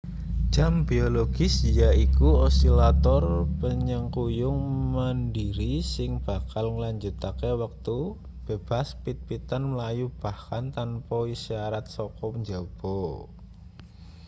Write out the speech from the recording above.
jam biologis yaiku osilator panyengkuyung mandhiri sing bakal nglanjutake wektu bebas-pit-pitan mlayu bahkan tanpa isyarat saka njaba